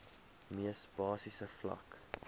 mees basiese vlak